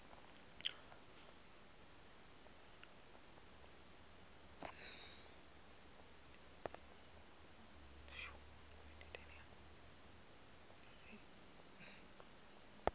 to apply tshi tea u